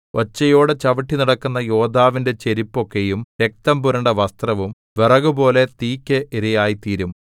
ഒച്ചയോടെ ചവിട്ടി നടക്കുന്ന യോദ്ധാവിന്റെ ചെരിപ്പൊക്കെയും രക്തംപുരണ്ട വസ്ത്രവും വിറകുപോലെ തീക്ക് ഇരയായിത്തീരും